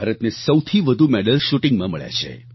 ભારતને સૌથી વધુ મેડલ્સ શૂટિંગમાં મળ્યા છે